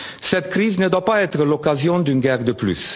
Cette crise ne doit pas être l'occasion d'une guerre